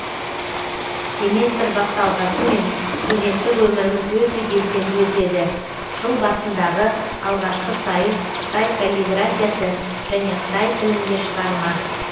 семестр басталғасымен студенттік өміріміз өте белсенді өтеді жыл басындағы алғашқы сайыс қытай каллиграфиясы және қытай тілінде шығарма